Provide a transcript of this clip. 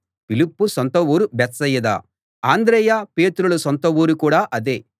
ఫిలిప్పు సొంత ఊరు బేత్సయిదా అంద్రెయ పేతురుల సొంత ఊరు కూడా అదే